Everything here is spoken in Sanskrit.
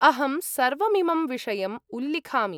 अहं सर्वमिमं विषयम् उल्लिखामि।